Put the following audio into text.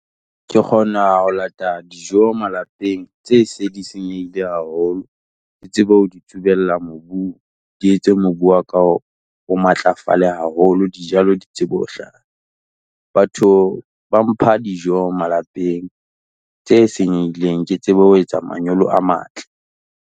Ke kgona ho lata dijo malapeng tse se di senyehile haholo, ke tsebe ho di tsubella mobung, di etse mobu wa ka o matlafale haholo dijalo di tsebe hlaha. Batho ba mpha dijo malapeng tse senyehileng, ke tsebe ho etsa manyolo a matle.